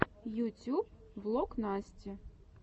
ютюб влог насти